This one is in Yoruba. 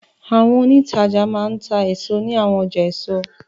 Àwọn òǹtajà máa ń ta èso ní àwọn ọjà èso.